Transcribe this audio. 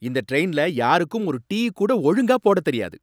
இந்த டிரைன்ல யாருக்கும் ஒரு டீ கூட ஒழுங்கா போடத் தெரியாது!